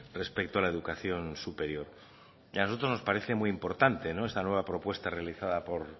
respecto a la educación superior y a nosotros nos parece muy importante esta nueva propuesta realizada por